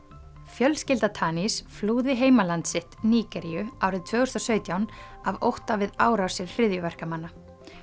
fjölskylda flúði heimaland sitt Nígeríu árið tvö þúsund og sautján af ótta við árásir hryðjuverkamanna